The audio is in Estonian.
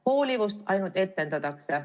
Hoolivust ainult etendatakse.